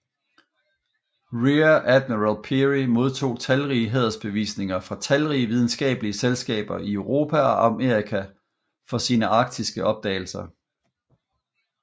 Rear Admiral Peary modtog talrige hædersbevisninger fra talrige videnskabelige selskaber i Europe og Amerika for sine arktiske opdagelser